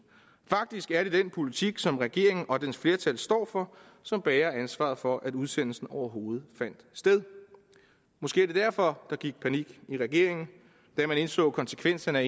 faktisk er det den politik som regeringen og dens flertal står for som bærer ansvaret for at udsendelsen overhovedet fandt sted måske er det derfor der gik panik i regeringen da man indså konsekvenserne af